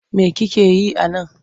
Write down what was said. Me kike yi a nan?